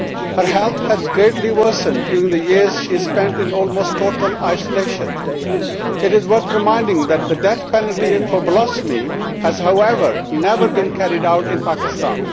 Her health has greatly worsened during the years she has spent in almost total isolation. It is worth remembering that the death penalty for blasphemy has, however, never been carried out in Pakistan.